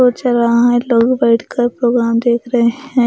सोच रहा है लोग बैठकर प्रोग्राम देख रहे हैं ।